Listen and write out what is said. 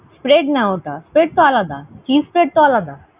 Spread না ওটা, spread তো আলাদা, cheese spread তো আলাদা।